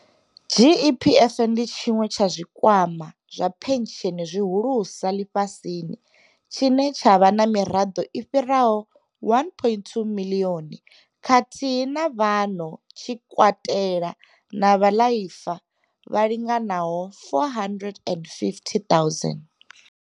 GEPF ndi tshiṅwe tsha zwikwama zwa phentsheni zwi hulusa ḽifhasini tshine tsha vha na miraḓo i fhiraho 1.2 miḽioni khathihi na vhano tshi katelwa na vhaḽaifa vha linganaho 450 000.